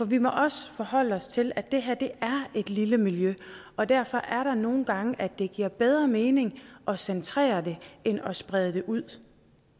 vi må også forholde os til at det her er et lille miljø og derfor er det nogle gange at det giver bedre mening at centrere det end at sprede det ud